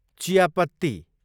चियापत्ती